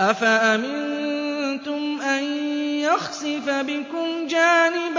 أَفَأَمِنتُمْ أَن يَخْسِفَ بِكُمْ جَانِبَ